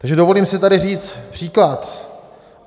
Takže dovolím si tady říct příklad.